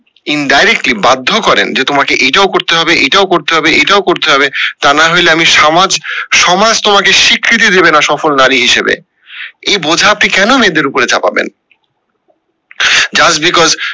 indirectly বাধ্য করেন যে তোমাকে এটাও করতে হবে এটাও করতে হবে এটাও করতে হবে তা না হইলে আমি সামাজ সমাজ তোমাকে স্বীকৃতি দেবে না সফল নারী হিসাবে। এই বোঝা আপনি কেন মেয়েদের উপরে চাপাবেন? just because